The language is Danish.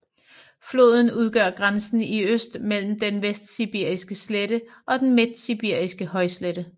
Floden udgør grænsen i øst mellem den vestsibiriske slette og den midtsibiriske højslette